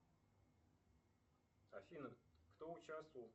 афина кто участвовал